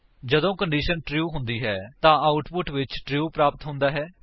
ਜਦੋਂ condition true ਹੁੰਦੀ ਹੈ ਤਾਂ ਆਉਟਪੁਟ ਵਿੱਚ ਟਰੂ ਪ੍ਰਾਪਤ ਹੁੰਦਾ ਹੈ